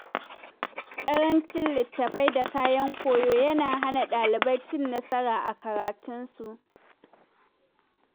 Karancin littattafai da kayan koyo yana hana ɗalibai cin nasara a karatunsu.